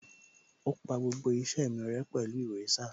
Ó pa gbogbo iṣẹ́ mi rẹ́ pẹ̀lú èrésà